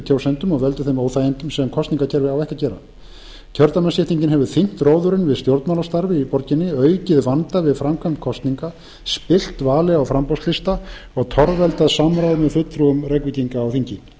kjósendum og veldur þeim óþægindum sem kosningakerfi á ekki að gera kjördæmaskiptingin hefur þyngt róðurinn við stjórnmálastarfið í borginni aukið vanda við framkvæmd kosninga spillt vali á framboðslista og torveldað samráð með fulltrúum reykvíkinga á þingi